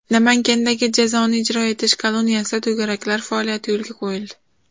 Namangandagi jazoni ijro etish koloniyasida to‘garaklar faoliyati yo‘lga qo‘yildi .